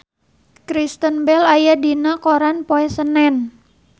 Kristen Bell aya dina koran poe Senen